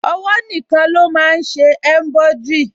Ọwọ́ nìkan ló máa n ṣe embroidery